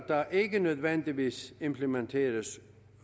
der ikke nødvendigvis implementeres